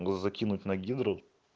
закинуть на гидру